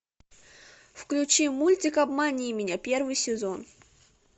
включи мультик обмани меня первый сезон